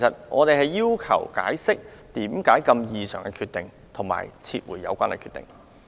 我們要求當局解釋作出這個異常決定的原因，並撤回有關決定。